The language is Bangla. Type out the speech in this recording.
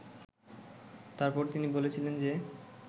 তারপর তিনি বলেছিলেন যে